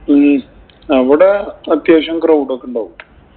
ഉം അവിടെ അത്യാവശ്യം crowd ഒക്കെ ഒണ്ടാവും.